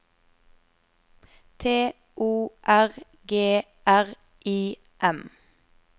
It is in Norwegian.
T O R G R I M